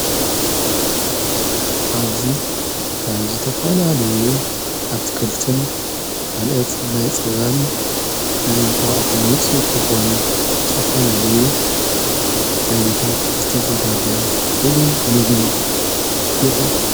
ኣብዙይ ካብ ዝ ተፋልለዩ ኣትክልትን ካልእት እናይ ፅባን ናይ ንቋቕሐን ውፅ ቲዝኾኑ ዝተፋልለዩ ዓይነታት ዘተዘጋጅዎ ፍልይ ምግቢ ይረአ።